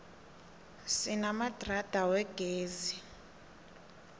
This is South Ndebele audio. sinamadrada wegezi